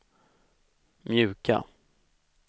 mjuka